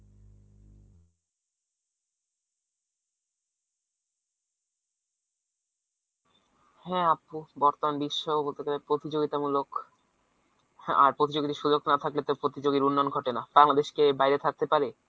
হ্যা আপু বর্তমান বিশ্ব ও তাদের প্রতিযোগিতামূলক আর প্রতিযোগিতার সুযোগ না থাকলে তো প্রতিযোগীর উন্নয়ন ঘটে না বাইরে থাকতে পারে